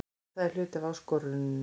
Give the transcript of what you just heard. Það er hluti af áskoruninni.